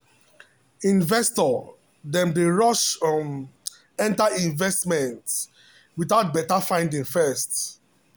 investor dem dey rush um enter investment without better finding first.